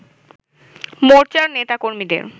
মোর্চার নেতাকর্মীদের